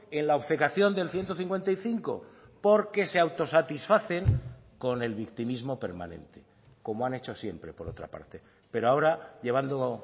en la obcecación del ciento cincuenta y cinco porque se autosatisfacen con el victimismo permanente como han hecho siempre por otra parte pero ahora llevando